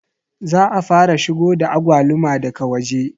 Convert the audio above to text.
Za a fara shigo da agwaluma daga waje